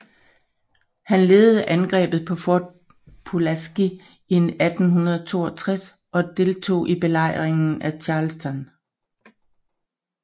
Han ledede angrebet på Fort Pulaski 1862 og deltog i belejringen af Charleston